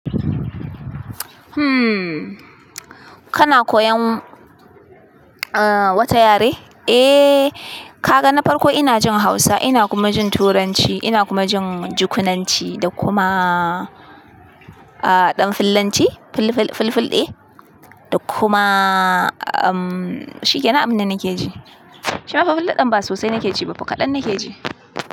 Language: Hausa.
Hmm. Kana koyan, ah, wata yare? Eh, ka ga na farko ina jin Hausa, ina kuma jin Turanci, ina kuma jin Jukunanci da kuma, ah, ɗan fillanci, fil-fil-filfil ɗe da kuma, umm, shi ke nan abin da nake ji. Shi mafi fil ɗe din ba sosai nake ji ba, kaɗan nake ji.